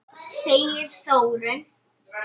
segir Þórunn.